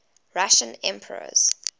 russian emperors